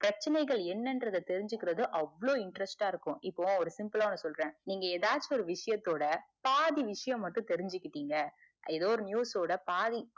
கர்ச்சனைகள் என்னன்றத தெரிஞ்சிக்கறது அவ்ளோ interest ஆ இருக்கும். இப்போ simple ஆ ஒன்னு சொல்ற நீங்க எதாச்சியும் ஒரு விஷயத்தோட பாதி விஷயத்த மட்டும் நீங்க தெரிஞ்சிகிட்டிங்க எதோ ஒரு news வோட பாதி